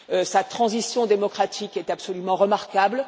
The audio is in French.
Sa transition démocratique est absolument remarquable.